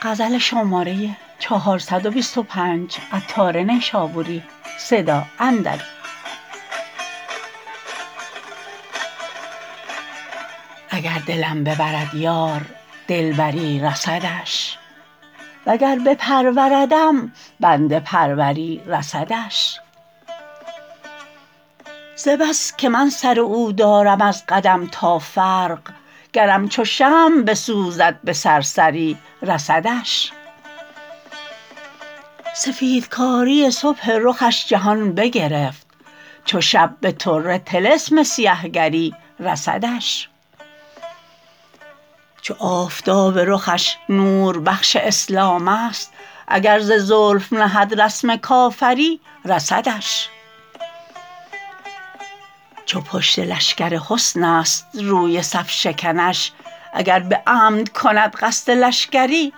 اگر دلم ببرد یار دلبری رسدش وگر بپروردم بنده پروری رسدش ز بس که من سر او دارم از قدم تا فرق گرم چو شمع بسوزد به سرسری رسدش سفید کاری صبح رخش جهان بگرفت چو شب به طره طلسم سیه گری رسدش چو آفتاب رخش نور بخش اسلام است اگر ز زلف نهد رسم کافری رسدش چو پشت لشکر حسن است روی صف شکنش اگر به عمد کند قصد لشکری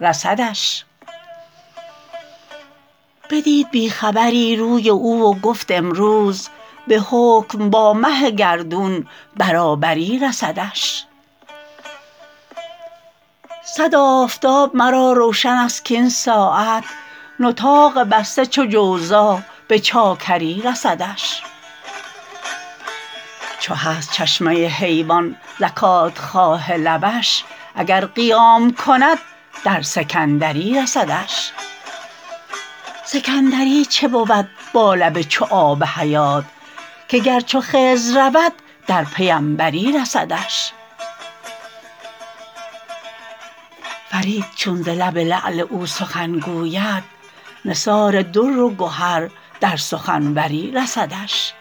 رسدش بدید بیخبری روی او و گفت امروز به حکم با مه گردون برابری رسدش صد آفتاب مرا روشن است کین ساعت نطاق بسته چو جوزا به چاکری رسدش چو هست چشمه حیوان زکات خواه لبش اگر قیام کند در سکندری رسدش سکندری چه بود با لب چو آب حیات که گر چو خضر رود در پیمبری رسدش فرید چون ز لب لعل او سخن گوید نثار در و گهر در سخن وری رسدش